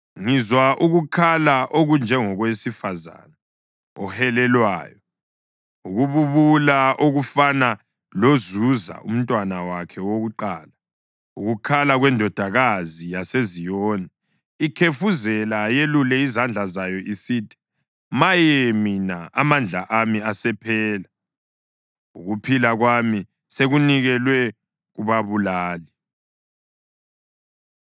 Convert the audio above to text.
Ngizwa ukukhala okunjengokowesifazane ohelelwayo, ukububula okufana lozuza umntwana wakhe wakuqala, ukukhala kweNdodakazi yaseZiyoni ikhefuzela, yelule izandla zayo isithi, “Maye mina! Amandla ami asephela, ukuphila kwami sekunikelwe kubabulali.”